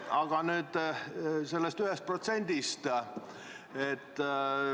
Aga nüüd sellest 1%-st.